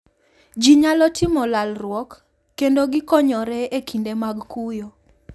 Ji nyalo timo lalruok, kendo gikonyore e kinde mag kuyo.